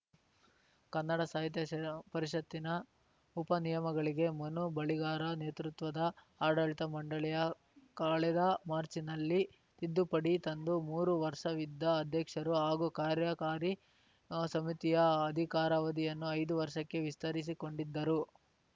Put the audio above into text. ಕನ್ನಡ ಸಾಹಿತ್ಯ ಪರಿಷತ್ತಿನ ಉಪ ನಿಯಮಗಳಿಗೆ ಮನು ಬಳಿಗಾರ ನೇತೃತ್ವದ ಆಡಳಿತ ಮಂಡಳಿಯ ಕಳೆದ ಮಾರ್ಚಿನಲ್ಲಿ ತಿದ್ದುಪಡಿ ತಂದು ಮೂರು ವರ್ಷವಿದ್ದ ಅಧ್ಯಕ್ಷರು ಹಾಗೂ ಕಾರ್ಯಕಾರಿ ಸಮಿತಿಯ ಆಧಿಕಾರಾವಧಿಯನ್ನು ಐದು ವರ್ಷಕ್ಕೆ ವಿಸ್ತರಿಸಿಕೊಂಡಿದ್ದರು